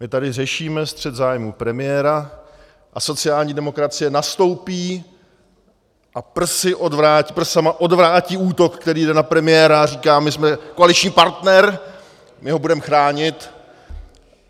My tady řešíme střet zájmů premiéra a sociální demokracie nastoupí a prsama odvrátí útok, který jde na premiéra, a říká: My jsme koaliční partner, my ho budem chránit!